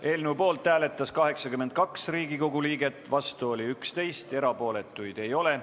Eelnõu poolt hääletas 82 Riigikogu liiget, vastu oli 11, erapooletuid ei olnud.